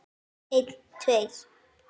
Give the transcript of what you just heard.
Einn tveir.